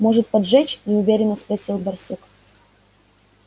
может поджечь неуверенно спросил барсук